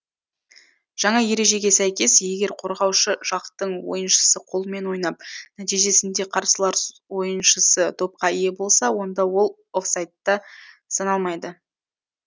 жаңа ережеге сәйкес егер қорғаушы жақтың ойыншысы қолымен ойнап нәтижесінде қарсылас ойыншысы допқа ие болса онда ол офсайдта саналмайды